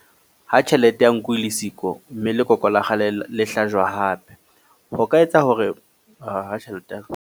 Ha tjhelete ya nku e le siko mme lekoko la kgale le hlajwa hape. Ho ka etsa hore .